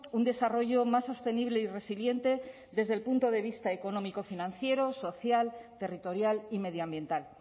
un desarrollo más sostenible y resiliente desde el punto de vista económico financiero social territorial y medioambiental